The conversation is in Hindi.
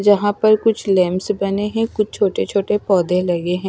जहां पर कुछ लेम्स बने है कुछ छोटे छोटे पौधे लगे हैं।